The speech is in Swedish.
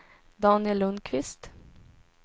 Daniel Lundkvist